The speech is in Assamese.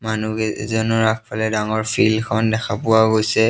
মানুহ কেইজনৰ আগফালে ডাঙৰ ফিল্ডখন দেখা পোৱা গৈছে।